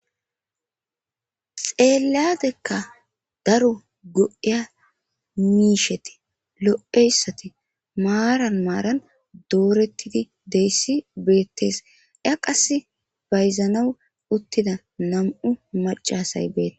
xeeladekka daro go7iya miisheti lo7eyssati maaran maaran doorettidi deyssi beettees ya qas bayzanaw uttida nam7u macasay beete